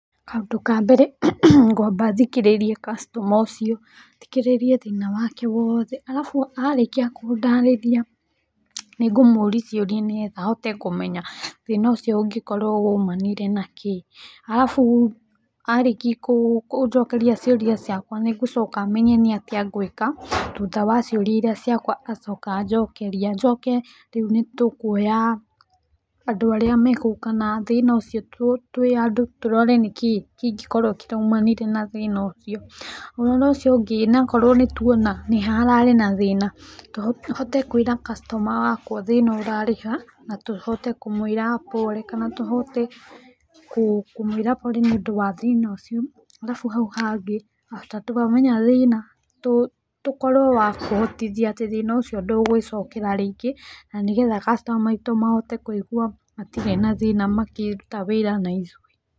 Kaũndũ ka mbere, ngwamba thikĩrĩrie customer ũcio, thikĩrĩrie thĩna wake wothe, arabu arĩkia kũndaarĩria nĩ ngũmũũri ciũria nĩgetha hote kũmenya thĩna ũcio ũngĩkorwo uumanĩre na kĩĩ. Arabu arĩki kũnjokeria ciuria ciakwa, nĩ ngũcoka menya nĩ atĩa ngwĩka, thutha wa ciũria iria ciakwa acoka anjokeria. Njoke rĩu nĩ tũkũoya andũ arĩa megũũka na thĩna ũcio twĩ andũ, tũrore nĩ kĩĩ kĩngĩkorwo kĩraumanire na thĩna ũcio. Ũrora ũcio ũngĩ, na korwo nĩ tũona nĩ ha hararĩ na thĩna, hote kwĩra customer wakwa thĩna ũrarĩ ha, na tũhote kũmwĩra pole kana tũhote kũmwĩra pole nĩũndũ wa thĩna ũcio. Arabu hau hangĩ after twamenya thĩna, tũkorwo wa kũhotithia atĩ thĩna ũci ndũgũĩcokera rĩngĩ na nĩgetha customer aitũ mahote kũigua matirĩ na thĩna makĩruta wĩra na ithũĩ.